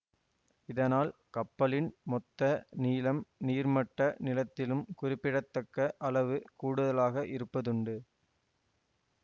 இதனால் கப்பலின் மொத்த நீளம் நீர்மட்ட நீளத்திலும் குறிப்பிடத்தக்க அளவு கூடுதலாக இருப்பதுண்டு